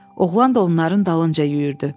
Oğlan da onların dalınca yüyürdü.